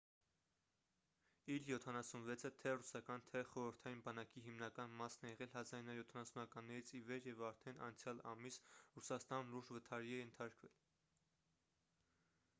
իլ 76-ը թե ռուսական թե խորհրդային բանակի հիմնական մասն է եղել 1970-ականներից ի վեր և արդեն անցյալ ամիս ռուսաստանում լուրջ վթարի է ենթարկվել